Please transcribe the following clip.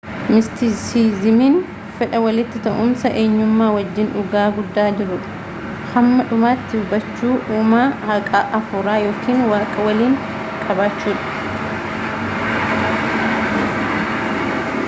mistisizimiin fedha walitti ta’uumsa enyummaa wajjiin dhugaa guddaa jiruu hamma dhumaatti hubachuu uumaa haaqa afuuraa yookiin waaqa waliin qabaachuudha